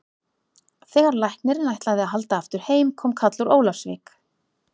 Þegar læknirinn ætlaði að halda aftur heim kom kall úr Ólafsvík.